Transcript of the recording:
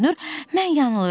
Görünür, mən yanılıram.